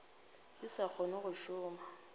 ke sa kgona go šoma